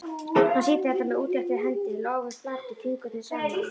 Hann sýndi þetta með útréttri hendi, lófinn flatur, fingurnir saman.